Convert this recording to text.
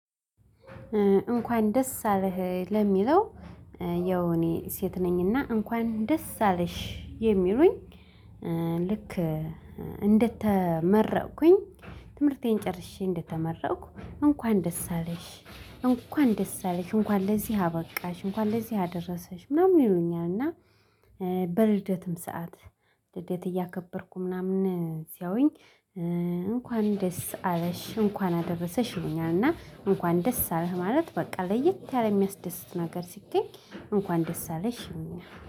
እንኳን ደስ አለህ ለሚለው ያው እኔ ሴት ነኝና እንኳን ደስ አለሽ የሚሉኝ ልክ እንደተመረቅኩኝ ትምህርቴን ጨርሼ እንደተመረኩ እንኳን ደስ አለሽ፤ እንኳን ደስ አለሽ፤ እንኳን ለዚህ አበቃሽ እንኳን ለዚህ አደረሰሽ ምናምን ይሉኛል እና በልደትም ሰዓት ልደት እያከበርኩ ምናምን ሲያዩኝ እንኳን ደስ አለሽ እንኳን አደረሰሽ ይሉኛል እና እንኳን ደስ አለህ ማለት በቃ ለየት ያለ የሚያስደስት ነገር ሲገኝ እንኳን ደስ አለሽ ይሉኛል።